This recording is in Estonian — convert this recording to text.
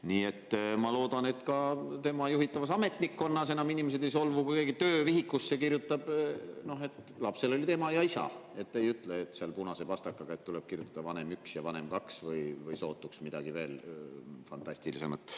Nii et ma loodan, et ka tema juhitavas ametnikkonnas enam inimesed ei solvu, kui keegi töövihikusse kirjutab, et lapsel olid ema ja isa, ei enam seda punase pastakaga ega ütle, et tuleb kirjutada vanem 1 ja vanem 2 või midagi veel sootuks fantastilisemat.